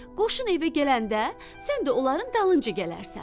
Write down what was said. Qoşun evə gələndə, sən də onların dalınca gələrsən.